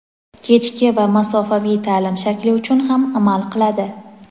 kechki va masofaviy taʼlim shakli uchun ham amal qiladi.